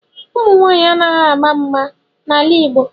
Ụmụ nwaanyị anaghị agba mgba n'ala Igbo